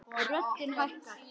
Röddin hækkar.